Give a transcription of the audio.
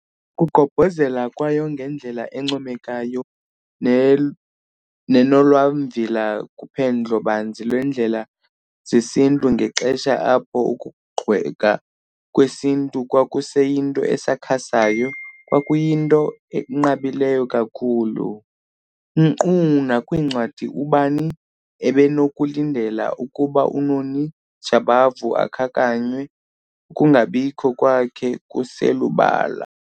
Ukugqobhozela kwayo ngendlela encomekayo nenolwamvila kuphendlo-banzi lweendlela zesiNtu ngexesha apho ukugxekwa kwesiNtu kwakuseyinto esakhasayo kwakuyinto enqabileyo kakhulu. Nkqu nakwincwadi ubani ebenokulindela ukuba uNoni Jabavu akhankanywe, ukungabikho kwakhe kuselubala.